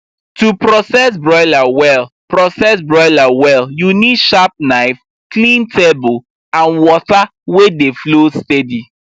to process broiler well process broiler well you need sharp knife clean table and water wey dey flow steady